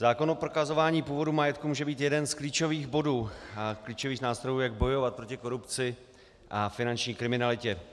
Zákon o prokazování původu majetku může být jeden z klíčových bodů, z klíčových nástrojů, jak bojovat proti korupci a finanční kriminalitě.